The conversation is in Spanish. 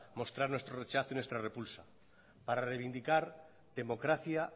mostrar nuestro rechazo y nuestra repulsa para reivindicar democracia